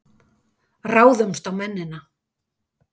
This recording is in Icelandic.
Ráðumst á mennina!